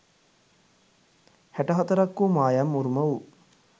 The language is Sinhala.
හැට හතරක් වූ මායම් උරුම වූ